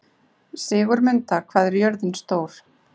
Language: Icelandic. Sigurmunda, hvað er jörðin stór?